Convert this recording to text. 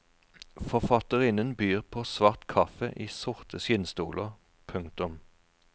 Forfatterinnen byr på svart kaffe i sorte skinnstoler. punktum